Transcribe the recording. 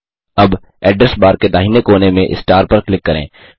अब address bar के दाहिने कोने में स्टार पर क्लिक करें